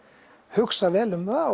hugsa vel um það